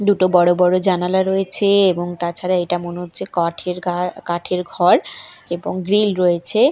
দুটো বড়ো বড়ো জানালা রয়েছে এবং তাছাড়া এটা মনে হচ্ছে কাঠের ঘা কাঠের ঘর এবং গ্রীল রয়েছে।